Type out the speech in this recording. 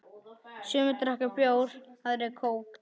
Sumir drekka bjór, aðrir kók.